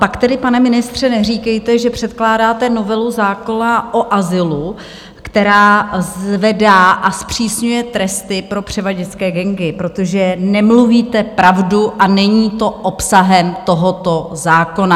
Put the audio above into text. Pak tedy, pane ministře, neříkejte, že předkládáte novelu zákona o azylu, která zvedá a zpřísňuje tresty pro převaděčské gangy, protože nemluvíte pravdu a není to obsahem tohoto zákona.